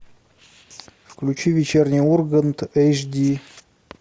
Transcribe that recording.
включи вечерний ургант эйч ди